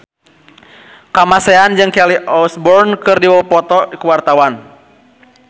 Kamasean jeung Kelly Osbourne keur dipoto ku wartawan